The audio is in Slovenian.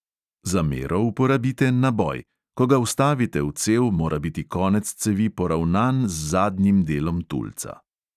Za mero uporabite naboj; ko ga vstavite v cev, mora biti konec cevi poravnan z zadnjim delom tulca.